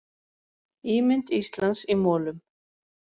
Ímynd Íslands í molum